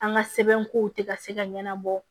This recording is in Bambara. An ka sɛbɛnkow tɛ ka se ka ɲɛnabɔ